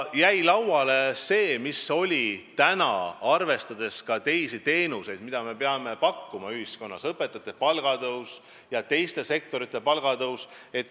Ja lauale jäi otsus, et arvestada tuleb ka teisi eesmärke, mis ühiskonnas on: õpetajate palga tõus ja palgatõus teistes sektorites.